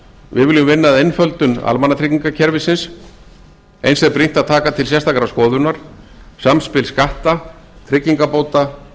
við viljum vinna að einföldun almannatryggingakerfisins eins er brýnt að taka til sérstakrar skoðunar samspil skatta tryggingabóta